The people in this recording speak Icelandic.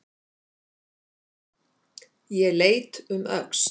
Ég leit um öxl.